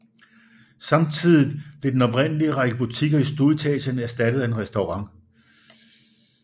Samtidigt blev den oprindelige række butikker i stueetagen erstattet af en restaurant